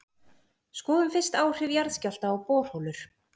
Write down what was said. Skoðum fyrst áhrif jarðskjálfta á borholur.